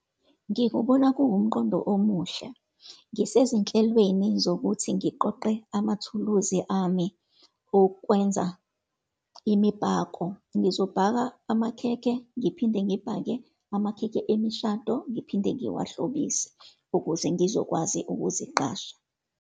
Ngikubona kuwumqondo omuhle. Ngisezinhlelweni zokuthi ngiqoqe amathuluzi ami okwenza imibhako. Ngizobhaka amakhekhe, ngiphinde ngibhake amakhekhe emishado, ngiphinde ngiwahlobise, ukuze ngizokwazi ukuziqasha.